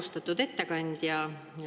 Austatud ettekandja!